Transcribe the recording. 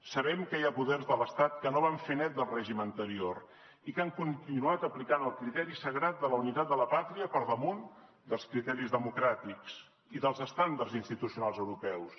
sabem que hi ha poders de l’estat que no van fer net del règim anterior i que han continuat aplicant el criteri sagrat de la unitat de la pàtria per damunt dels criteris democràtics i dels estàndards institucionals europeus